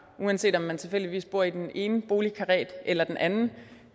uanset om man tilfældigvis bor i den ene boligkarré eller den anden